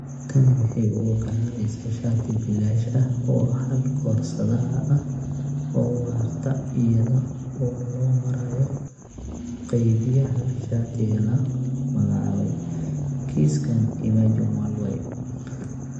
Tani waxay u oggolaanaysaa shati bilaash ah oo hal koorsada ah oo waarta iyada oo loo marayo qaybiyaha shatiga la magacaabay (kiiskan Imagine Worldwide)